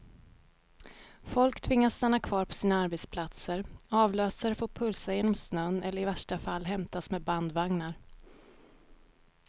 Folk tvingas stanna kvar på sina arbetsplatser, avlösare får pulsa genom snön eller i värsta fall hämtas med bandvagnar.